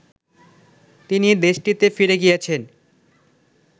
তিনি দেশটিতে ফিরে গিয়েছেন